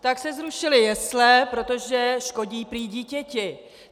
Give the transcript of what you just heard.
- tak se zrušily jesle, protože škodí prý dítěti.